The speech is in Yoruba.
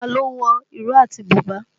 Ta ló wọ ìró àti bùbá?